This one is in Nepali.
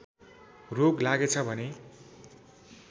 रोग लागेछ भने